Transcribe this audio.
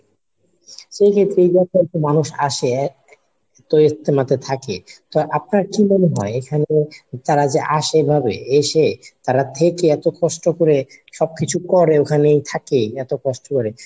so এইযে দূর দূরান্ত থেকে মানুষ আসে হ্যা তো ইজতেমাতে থাকে তো আপনার কি মনে হয় এখানে তারা যে আসে এভাবে এসে তারা থেকে এতো কষ্ট করে সবকিছু করে ওখানে থাকে এতো কষ্ট করে